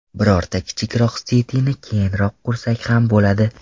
Birorta kichikroq sitini keyinroq qursak ham bo‘ladi.